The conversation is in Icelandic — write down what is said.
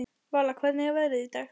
Vala, hvernig er veðrið í dag?